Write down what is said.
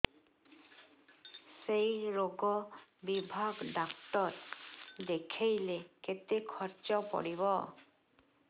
ସେଇ ରୋଗ ବିଭାଗ ଡ଼ାକ୍ତର ଦେଖେଇଲେ କେତେ ଖର୍ଚ୍ଚ ପଡିବ